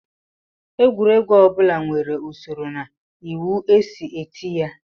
Egwuregwu ọ bụla nwere usoro na iwu e si eti ya